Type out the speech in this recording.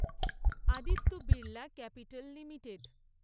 Aditya Birla Capital limited